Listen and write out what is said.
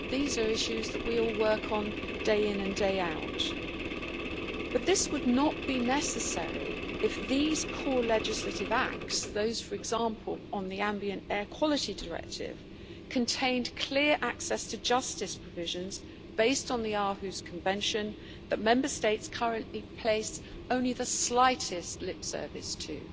these are issues that we all work on day in and day out, but this would not be necessary if these core legislative acts those for example on the ambient air quality directive contained clear access to justice provisions based on the Aarhus Convention that Member States currently pay only the slightest lip service to.